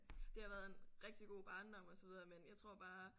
Det har været en rigtig god barndom og så videre men jeg tror bare